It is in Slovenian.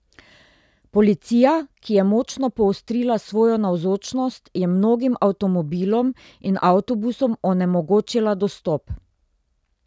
Policija, ki je močno poostrila svojo navzočnost, je mnogim avtomobilom in avtobusom onemogočila dostop.